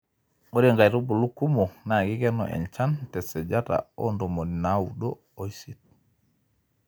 ore inkaitubulu kumok naa kikenu enchan te sajata oo ntomoni naudo oisiet